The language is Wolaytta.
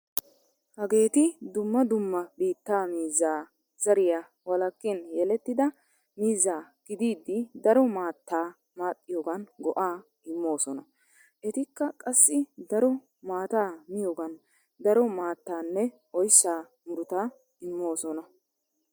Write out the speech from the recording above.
Hageeti dumma dumma biittaa miizzaa zariyaa walakkin yelettida miizza gididi daro maattaa maaxxiyogan go'aa immoosona. Etikka qassi daro maataa miyogan daro maattaanne oyssa muruta immoosona.